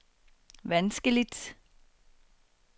vanskeligt